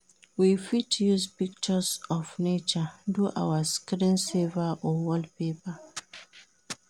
We fit use pictures of nature do our screen saver or wallpaper